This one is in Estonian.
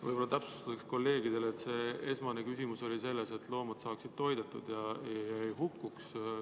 Võib-olla täpsustuseks kolleegidele, et esmane eesmärk on, et loomad saaksid toidetud ja ei hukkuks.